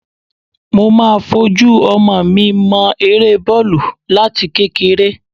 Mo máa fojú ọmọ mi mọ eré bọ́ọ̀lù láti kékeré